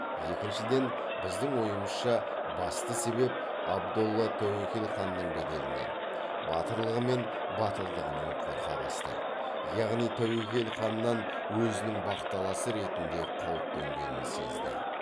екіншіден біздің ойымызша басты себеп абдолла тәуекел ханның беделінен батырлығы мен батылдығынан қорқа бастайды яғни тәуекел ханнан өзінің бақталасы ретінде қауіп төнгенін сезді